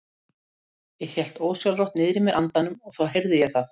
Ég hélt ósjálfrátt niðri í mér andanum og þá heyrði ég það.